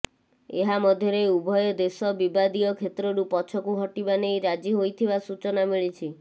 ଏହାମଧ୍ୟରେ ଉଭୟ ଦେଶ ବିବାଦୀୟ କ୍ଷେତ୍ରରୁ ପଛକୁ ହଟିବା ନେଇ ରାଜି ହୋଇଥିବା ସୂଚନା ମିଳିଛି